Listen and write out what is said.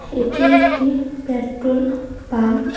এটি একটি petrol pump.